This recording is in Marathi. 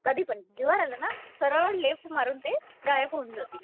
काधिपण जीववंर आलं ना, सरल लेफ्ट मारून ते गायब होऊन जातील